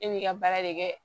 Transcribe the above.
E b'i ka baara de kɛ